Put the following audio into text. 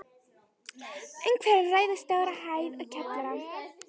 Um er að ræða stóra hæð og kjallara.